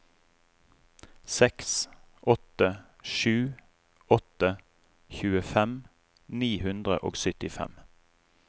seks åtte sju åtte tjuefem ni hundre og syttifem